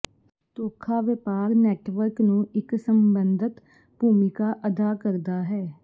ਧੋਖਾ ਵਪਾਰ ਨੈੱਟਵਰਕ ਨੂੰ ਇੱਕ ਸੰਬੰਧਤ ਭੂਮਿਕਾ ਅਦਾ ਕਰਦਾ ਹੈ